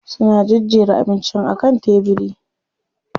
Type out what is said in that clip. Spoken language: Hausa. Suna jejjera abincin a kan tebiri.